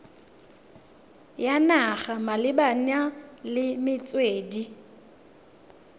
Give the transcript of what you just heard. ya naga malebana le metswedi